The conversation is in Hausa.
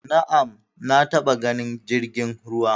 Na'am, na taba ganin jirgin ruwa